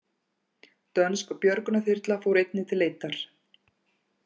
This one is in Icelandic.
Dönsk björgunarþyrla fór einnig til leitar